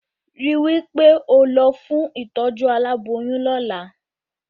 Rí wí pé ó lọ fún ìtọ́jú aláboyún lọ́la